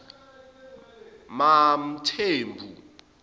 mamthembu